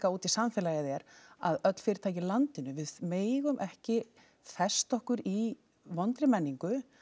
út í samfélagið er að öll fyrirtæki í landinu við megum ekki festa okkur í vondri menningu